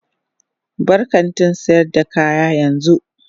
Bar kantin sayar da kaya yanzu.